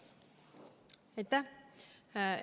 Aitäh!